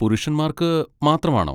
പുരുഷന്മാർക്ക് മാത്രം ആണോ?